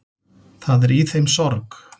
Það er í þeim sorg.